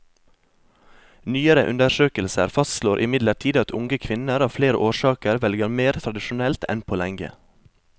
Nyere undersøkelser fastslår imidlertid at unge kvinner av flere årsaker velger mer tradisjonelt enn på lenge.